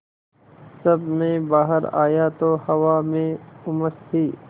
जब मैं बाहर आया तो हवा में उमस थी